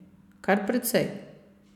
Kar precej.